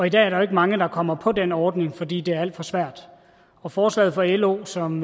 i dag er der jo ikke mange der kommer på den ordning fordi det er alt for svært og forslaget fra lo som